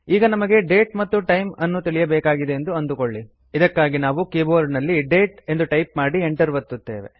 ಈಗ ನಮಗೆ ಡೇಟ್ ಮತ್ತು ಟೈಮ್ ನ್ನು ತಿಳಿಯಬೇಕಾಗಿದೆ ಎಂದು ಅಂದುಕೊಳ್ಳಿ ಇದಕ್ಕಾಗಿ ನಾವು ಕೀಬೋರ್ಡ್ ನಲ್ಲಿ ಡೇಟ್ ಎಂದು ಟೈಪ್ ಮಾಡಿ ಎಂಟರ್ ಒತ್ತುತ್ತೇವೆ